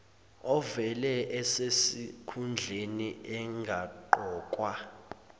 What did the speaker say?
ovele esesikhundleni engaqokwa